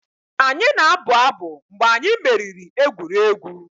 Anyị na-abụ abụ mgbe anyị meriri egwuregwu.